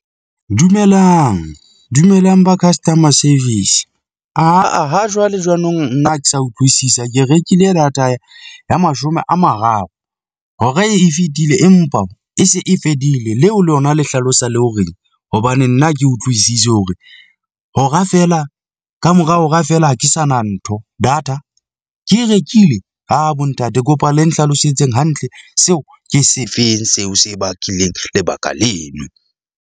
Dumelang, dumelang ba customer service aa ha jwale jwanong nna ha ke sa utlwisisa. Ke rekile data ya mashome a mararo hora e fetile empa e se e fedile. Leo lona le hlalosa le hore eng? Hobane nna ha ke utlwisise hore hora feela kamora hora feela. Ha ke sana ntho data? Ke e rekile? Aa bo ntate, ke kopa le nhlalosetseng hantle seo ke se feng seo se bakileng lebaka leno.